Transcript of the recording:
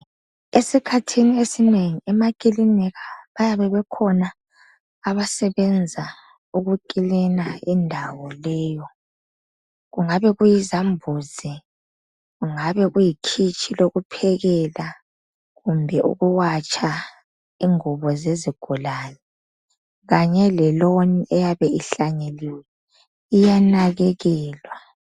Esikhathini esinengi emakilinika bayabe bekhona abasebenza ukukilina indawo leyo . Kungabe kuyizambuzi kungabe kuyikhitshi lokuphekela kumbe ukuwatsha ingubo zezigulane. Kanye le loan eyabe ihlanyeliwe iyanakekelwa